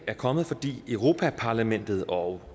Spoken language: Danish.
er kommet fordi europa parlamentet og